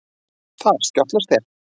Þar skjátlast þér.